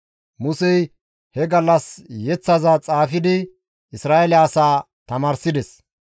Musey he gallas yeththaza xaafidi Isra7eele asaa tamaarsides.